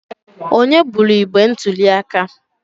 Onye buru igbe ntuli aka?